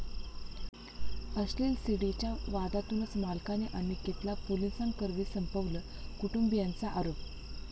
अश्लील सीडी'च्या वादातूनच मालकाने अनिकेतला पोलिसांकरवी संपवलं, कुटुंबियांचा आरोप